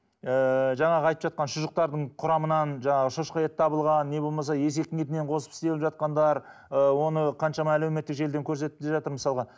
ыыы жаңағы айтып жатқан шұжықтардың құрамынан жаңағы шошқа еті табылған не болмаса есектің етінен қосып істеп жатқандар ы оны қаншама әлеуметтік желіден көрсетіп те жатыр мысалға